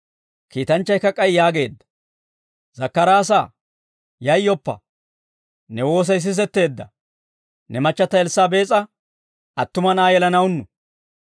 Kiitanchchaykka k'ay yaageedda, «Zakkaraasaa, yayyoppa; ne woosay sisetteedda, ne machchata Elssaabees'a attuma na'aa yelanawunnu.